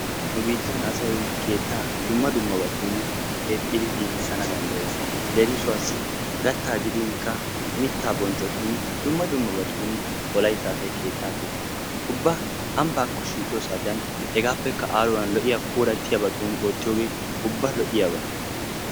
Nu biittan asay keetta asay dumma dummabatun keetidi giigissanw danddayees. leemissuwawu mitta boccotun dumma dummabatun asay keetta keexxees, ubbaambbakko shiiqiyoo saatiyaa hageppe lo'iya hegappekka aaruwan lo''iyaa puulatiyaabatun oottiyooge ubba lo''iyaaba.